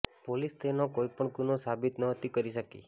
police તેનો કોઈ પણ ગુનો સાબિત નહોતી કરી શકી